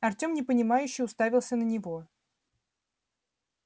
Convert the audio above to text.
артем непонимающе уставился на него